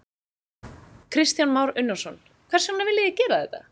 Kristján Már Unnarsson: Hvers vegna viljið þið gera þetta?